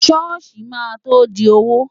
Ṣọ́ọ̀ṣì máa tó di òwò.